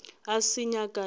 a se nyaka e be